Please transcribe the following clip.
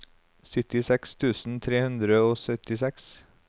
syttiseks tusen tre hundre og syttiseks